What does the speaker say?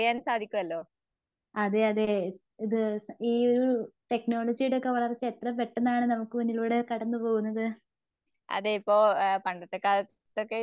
അതെയതെ ഇത് ഈയൊരു ടെക്‌നോളജിയുടെയൊക്കെ വളർച്ച എത്ര പെട്ടന്നാണ് നമുക്ക് മുന്നിലൂടെ കടന്നുപോകുന്നത്.